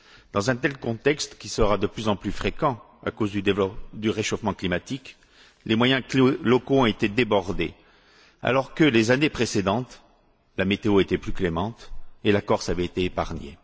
Dans un tel contexte, qui sera de plus en plus fréquent à cause du réchauffement climatique, les moyens locaux ont été débordés, alors que les années précédentes, la météo était plus clémente et la Corse avait été épargnée.